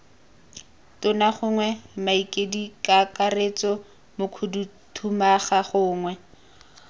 tona gongwe mokaedikakaretso mokhuduthamaga gongwe